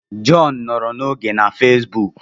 John nọrọ n'oge na fesbuk